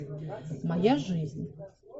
моя жизнь